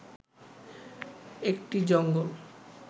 একটি জঙ্গল